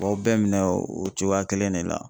Aw bɛɛ bɛ minɛ o cogoya kelen de la.